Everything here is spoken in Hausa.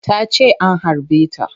Tace an harbe ta